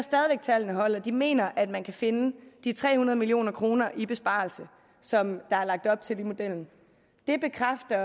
at tallene holder de mener at man kan finde de tre hundrede million kroner i besparelse som der er lagt op til i modellen det bekræfter